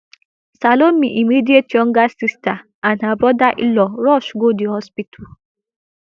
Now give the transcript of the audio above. salome immediate younger sister and her brother inlaw rush go di hospital